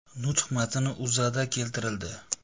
Nutq matni O‘zAda keltirildi .